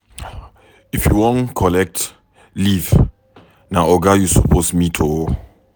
If you wan collect leave, na oga you suppose meet o